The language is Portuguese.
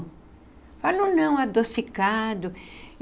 Fala um não adocicado.